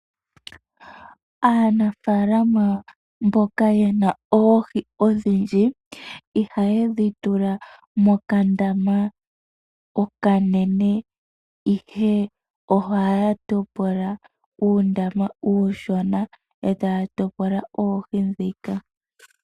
Aanafaalama mboka yena oohi odhindji ihaye dhi tula mokandama okanene, ihe ohaya topola uundama uushona, etaya topola oohi ndhika.